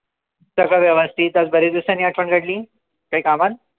सर्व व्यवस्थित आज बरेच दिवसांनी आठवण काढली काई कामान?